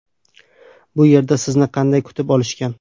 Bu yerda sizni qanday kutib olishgan?